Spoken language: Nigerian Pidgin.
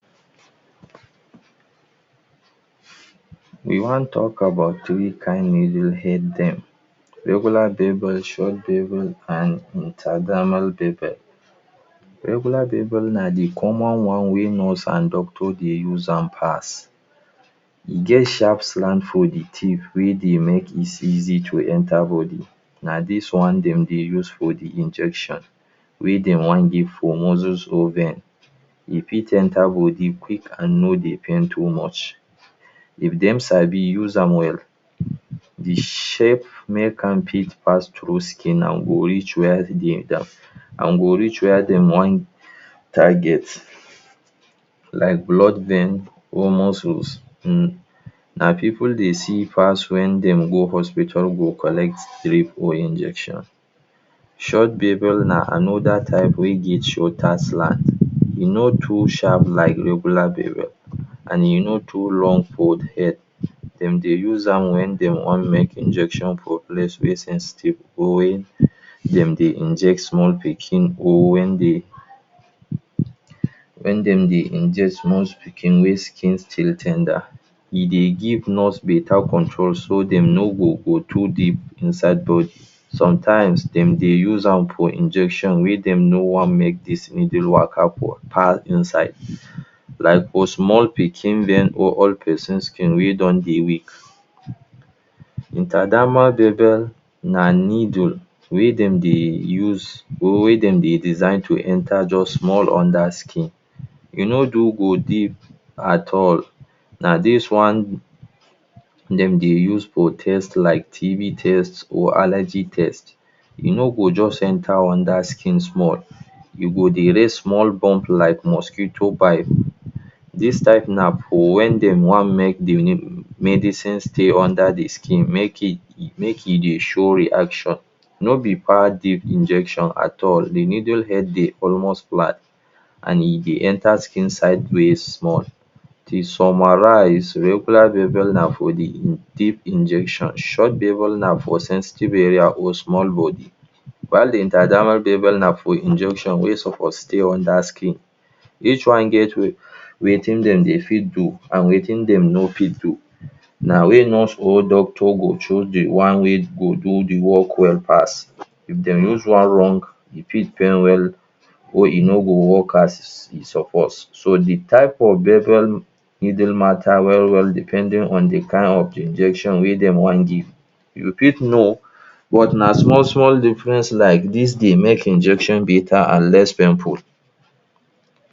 We wan tok about three kain needle head dem, regular bevel, short bevel, and intrademal bevel. Regular bevel na di common one wey nurse and doctors dey use am pass. E get sharp slant for di tip wey dey make it easy to enter body, na dis one dem dey use for di injection wey dem wan give for muscles or veins, e fit enta body quick and no dey pain too much if dem sabi use am well, di shape fit make am pass through skin and go reach wia dey need am and go wia dem wan target. Like blood veins or muscles. Na pipu dey see pass wen dem go hospital go collect drip or injection. Short bevel na anoda type wey get shorter slant e no too sharp like regular bevel and e no too long for di head dem dey use am wen dem wan make injection for place wey sensitive or wen dem dey inject small pikin or wen dem dey inject small pikin wey skim still ten der e dey give nurse better control so dem no go go too deep inside body. Sometimes dem dey use am for injection wey dem no wan make needle waka pass inside like for small pikin vein or old pesin skin wey don dey weak. Intrademal bevel na needle wey dem dey use or wey dem dey design to enta just small underskin. E no dey go deep at all na dis one dem dey use for tests like T.B test or allergy test. E no go just enta under small e go dey raise small bump like mosquito bite. Dis type na for wen dem wan make medicine stay under di skin, make e dey show reaction nobi far deep injection at all, di needle head dey almost flat, and e dey enta skin side ways small. To summarise, regular bevel na for di deep injection, short bevel na for sensitive area or small body while di intrademal bevel na for injection wey suppose stay under skin each one get wetin dem dey fit do and wetin dem no fit do, na wey nurse or doctor go choose di one wey go do di work well pass. If dem use one wrong, e fit pain well, or e no go work as e suppose. So di type of bevel needle matta depending on di kain of injection wey dem wan give, you fit know but na small small difference like dis dey make injection betta and less painful